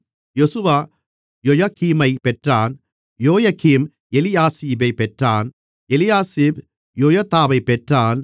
யெசுவா யொயகீமைப் பெற்றான் யொயகீம் எலியாசிபைப் பெற்றான் எலியாசிப் யொயதாவைப் பெற்றான்